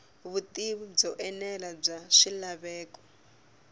vutivi byo enela bya swilaveko